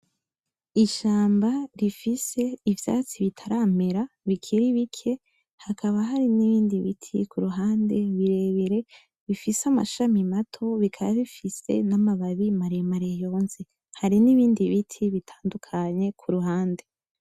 Ishamba rifise ivyatsi bitaramera bikiri bike, hakaba hari nibindi biti kuruhande birebire bifise amashami mato bikaba bifise na ma babi mare mare yonze. Hari nibindi biti bitandukanye kuruhande.